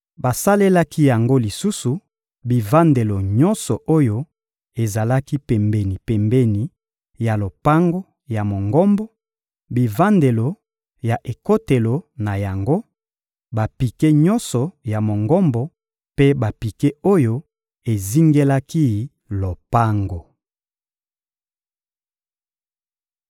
Basalelaki yango lisusu bivandelo nyonso oyo ezalaki pembeni-pembeni ya lopango ya Mongombo, bivandelo ya ekotelo na yango, bapike nyonso ya Mongombo mpe bapike oyo ezingelaki lopango.